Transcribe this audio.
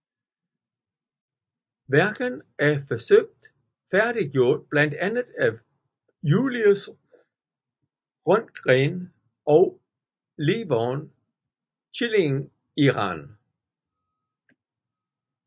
Værket er forsøgt færdiggjort blandt andet af Julius Röntgen og Levon Chilingirian